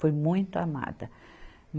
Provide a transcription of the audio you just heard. Fui muito amada.